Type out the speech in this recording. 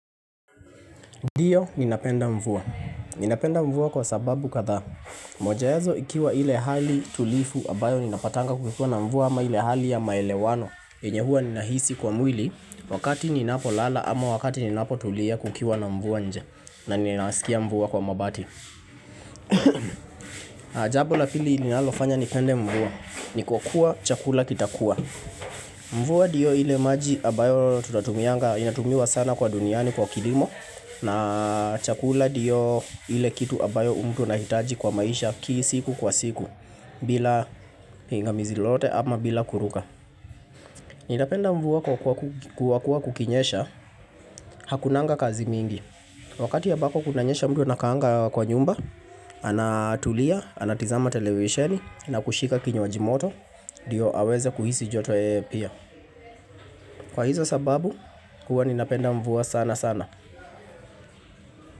Ndiyo ninapenda mvua. Ninapenda mvua kwa sababu katha. Moja yazo ikiwa ile hali tulivu ambayo ninapatanga kukiwa na mvua ama ile hali ya maelewano. Yenye huwa ninahisi kwa mwili wakati ninapo lala ama wakati ninapo tulia kukiwa na mvua nje na ninasikia mvua kwa mabati. Jambo la pili linalofanya ni pende mvua ni kwa kuwa chakula kitakua mvua ndiyo ile maji ambayo tunatumianga Inatumiwa sana kwa duniani kwa kilimo na chakula ndiyo ile kitu ambayo mtu anahitaji kwa maisha kila siku kwa siku bila hingamizi lolote ama bila kuruka Ninapenda mvua kwa kuwa kukinyesha Hakunanga kazi mingi Wakati ambako kunanyesha mtu anakaanga kwa nyumba Anatulia, anatazama televisheni na kushika kinywaji moto Ndio aweze kuhisi joto yeye pia Kwa hizo sababu huwa ninapenda mvua sana sana.